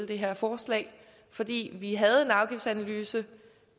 det her forslag fordi vi havde en afgiftsanalyse